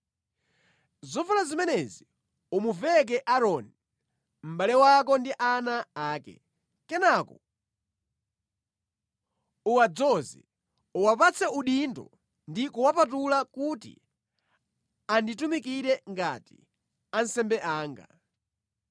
Zovala zimenezi umuveke Aaroni, mʼbale wako ndi ana ake. Kenaka uwadzoze, uwapatse udindo ndi kuwapatula kuti anditumikire ngati ansembe anga.